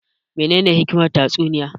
Me ne ne hikimar tatsuniya